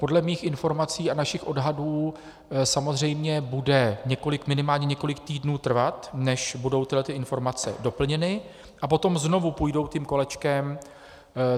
Podle mých informací a našich odhadů samozřejmě bude minimálně několik týdnů trvat, než budou tyto informace doplněny, a potom znovu půjdou tím kolečkem.